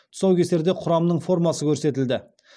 тұсаукесерде құрамның формасы көрсетілді